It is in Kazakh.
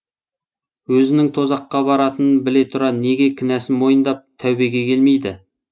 өзінің тозаққа баратынын біле тұра неге кінәсін мойындап тәубеге келмейді